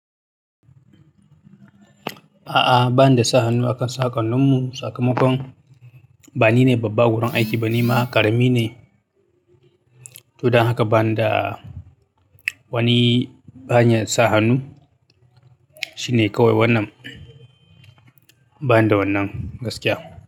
A'a, ba ni da sa hannu akan saƙon nin mu, sakamakon bani ne babba awurin aiki ba, nima karami ne to dan haka ba ni da wani hanyar sa hannu. Shi ne kawai wannan, ba ni da wannan gaskiya.